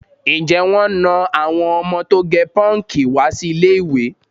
Ǹjẹ́ wọ́n na àwọn ọmọ tó gẹ pọ́ǹkì wá sí ilé-ìwé?